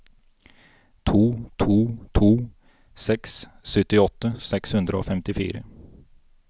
to to to seks syttiåtte seks hundre og femtifire